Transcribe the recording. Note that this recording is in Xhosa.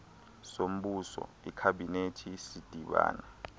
sombuso ikhabhinethi sidibana